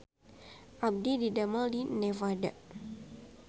Abdi didamel di Nevada